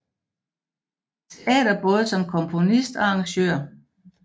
Teater både som komponist og arrangør